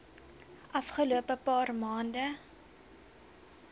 afgelope paar maande